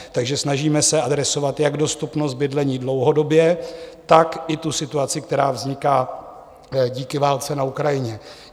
Takže snažíme se adresovat jak dostupnost bydlení dlouhodobě, tak i tu situaci, která vzniká díky válce na Ukrajině.